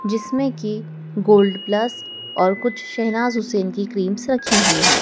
जिसमें कि gold plus और कुछ शहनाज हुसैन की क्रीम्स रखी हुई है।